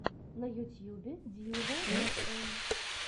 на ютюбе дьювал эфэм